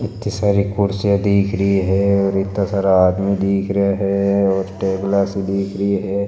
इत्ती सारी कुर्सियां दिख रही है इत्ती सारी आदमी दिख रहा है और टेबला सी दिख रही है।